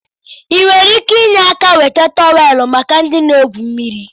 Ị nwere ike inye áká weta tọweelụ maka ndị na-egwu mmiri?